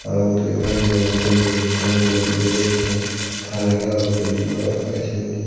arow uguredi gor an dega dol dol guriney rong gullon indi degey sen tar agey arw belding gor agey sindi.